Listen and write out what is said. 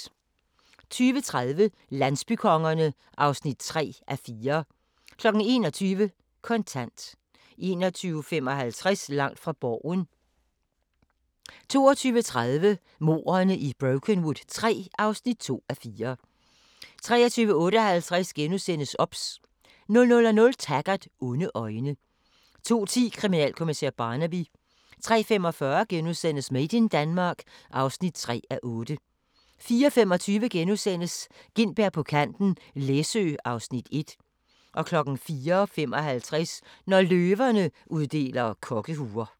20:30: Landsbykongerne (3:4) 21:00: Kontant 21:55: Langt fra Borgen 22:30: Mordene i Brokenwood III (2:4) 23:58: OBS * 00:00: Taggart: Onde øjne 02:10: Kriminalkommissær Barnaby 03:45: Made in Denmark (3:8)* 04:25: Gintberg på kanten - Læsø (Afs. 1)* 04:55: Når løverne uddeler kokkehuer